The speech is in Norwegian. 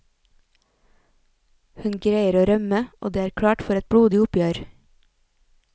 Hun greier å rømme, og det er klart for et blodig oppgjør.